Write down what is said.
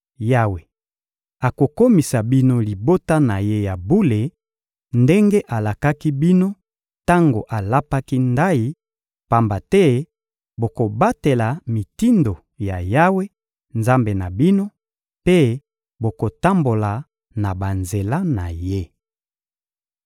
Yawe akokomisa bino libota na Ye ya bule ndenge alakaki bino tango alapaki ndayi, pamba te bokobatela mitindo ya Yawe, Nzambe na bino, mpe bokotambola na banzela na Ye.